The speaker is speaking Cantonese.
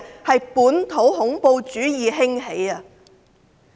是本土恐怖主義興起。